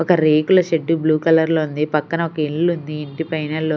ఒక రేకుల shed blue colour లో ఉంది పక్కన ఒక ఇల్లు ఉంది ఇంటి పైన లో--